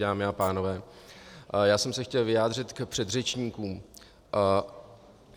Dámy a pánové, já jsem se chtěl vyjádřit k předřečníkům.